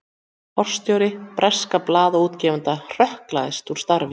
Forstjóri bresks blaðaútgefanda hrökklast úr starfi